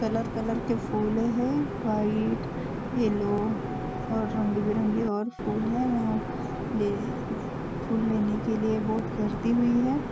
Colour colour के फूल है वाइट येल्लो और रंग बिरंगे और फूल है वाह ले फूल लेने में के लिए बहुत गर्दी हुई है।